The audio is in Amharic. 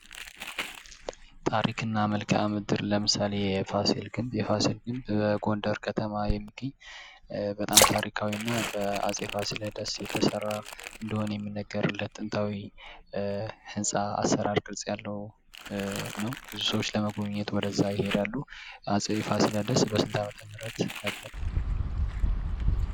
ታሪክና መልክዓ ምድር ለምሳሌ የፋሲል ግንብ የፋሲል ግንብ በጎንደር ከተማ የሚገኝ በጣም ታሪካዊ እና በአፄ ፋሲለደስ የተሰራ እንደሆነ የሚነገርለት ጥንታዊ የአሰራር ቅርጽ ያለው ነው። ብዙ ሰዎች ለመጎብኘት ወደዛ ይሄዳሉ። አጼ የፋሲለደስ በስንት ዓመተ ምህረት ነበር ?